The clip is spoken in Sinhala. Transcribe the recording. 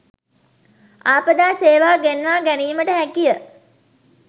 ආපදා සේවා ගෙන්වා ගැනීමට හැකිය.